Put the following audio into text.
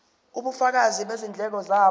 ubufakazi bezindleko zabo